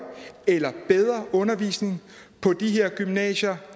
eller bedre undervisning på de her gymnasier